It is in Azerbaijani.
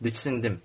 Diksindim.